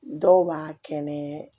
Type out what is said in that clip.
Dɔw b'a kɛ nɛnɛ